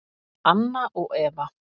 Anna og Eva.